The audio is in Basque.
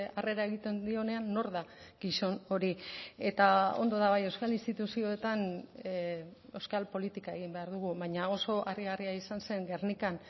harrera egiten dionean nor da gizon hori eta ondo da bai euskal instituzioetan euskal politika egin behar dugu baina oso harrigarria izan zen gernikan